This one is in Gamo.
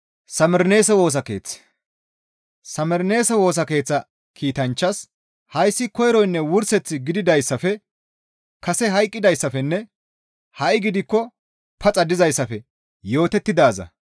«Samerneese Woosa Keeththa kiitanchchaas, hayssi koyronne wurseth gididayssafe kase hayqqidayssafenne ha7i gidikko paxa dizayssafe yootettidaaza.